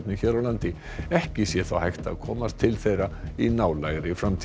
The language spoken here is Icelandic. hér á landi ekki sé þó hægt að komast til þeirra í nálægri framtíð